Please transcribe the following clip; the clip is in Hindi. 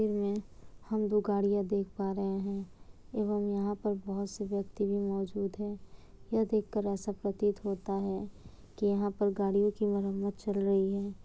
यह हम जो गाड़ियां देख पा रहे हैं एवं यहाँ पर बहुत से व्यक्ति भी मौजूद हैं। यह देखकर ऐसा प्रतीत होता है कि यहाँ पर गाड़ियों की मरम्मत चल रही है।